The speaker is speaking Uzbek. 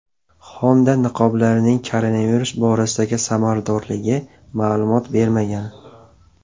Honda niqoblarning koronavirus borasidagi samaradorligi ma’lumot bermagan.